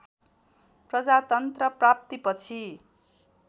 प्रजातन्त्र प्राप्ति पछि